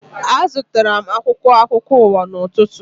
Azụtara m akwụkwọ akụkọ ụwa n'ụtụtụ